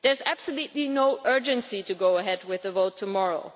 There is absolutely no urgency about going ahead with a vote tomorrow.